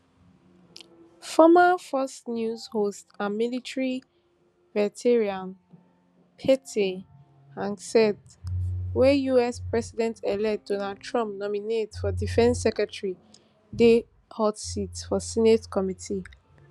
former fox news host and military veteran pete hegseth wey us presidentelect donald trump nominate for defence secretary dey hot seat for senate committee